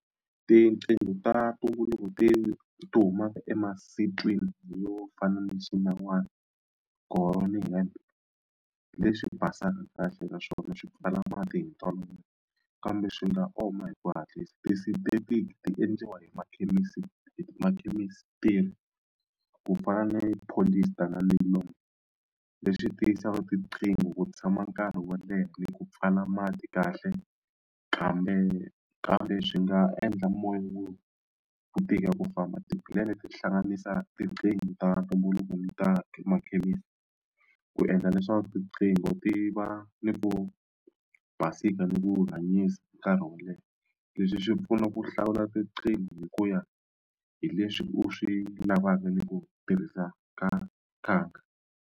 Tiqingho ta ti ti humaka yo fana na xinawana leswi basaka kahle naswona swi pfala mati hi ntolovelo kambe swi nga oma hi ku hatlisa ti endliwa hi makhemisi hi ti ku fana ni polyester na leswi tiyisaka tiqingho ku tshama nkarhi wo leha ni ku pfala mati kahle kambe kambe swi nga endla mongo ku tika ku famba ti-plan ti hlanganisa tiqingho ta ntumbuluko ni ta makhemisi ku endla leswaku riqingho ti va ni ku basisa ni ku hanyisa nkarhi wo leha leswi swi pfuna ku hlawula tiqingho hi ku ya hi leswi u swi lavaka ni ku tirhisa ka .